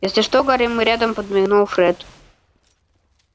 если что гарри мы рядом подмигнул фред